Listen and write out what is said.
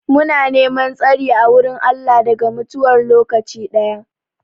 Muna neman tsari a wurin Allah daga mutuwar lokaci daya.